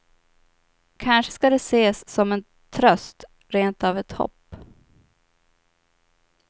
Kanske ska det ses som en tröst, rent av ett hopp.